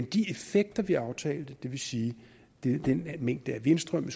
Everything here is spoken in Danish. de effekter vi aftalte det vil sige den mængde af vindstrøm